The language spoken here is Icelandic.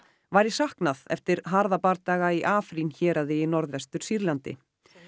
væri saknað eftir harða bardaga í héraði í Norðvestur Sýrlandi